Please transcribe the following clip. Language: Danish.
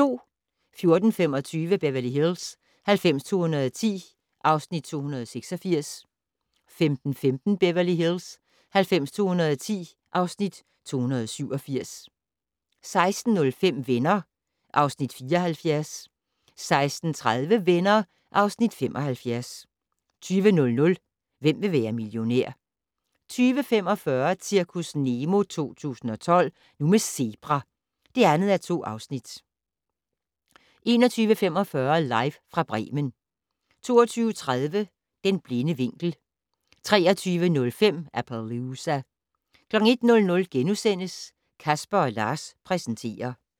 14:25: Beverly Hills 90210 (Afs. 286) 15:15: Beverly Hills 90210 (Afs. 287) 16:05: Venner (Afs. 74) 16:30: Venner (Afs. 75) 20:00: Hvem vil være millionær? 20:45: Zirkus Nemo 2012 - Nu med zebra! (2:2) 21:45: Live fra Bremen 22:30: Den blinde vinkel 23:05: Appaloosa 01:00: Casper & Lars præsenterer *